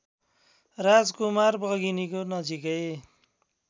राजकुमार बघिनीको नजिकै